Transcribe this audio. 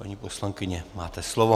Paní poslankyně, máte slovo.